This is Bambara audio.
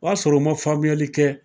O y'a sɔrɔ u ma faamuyali kɛ.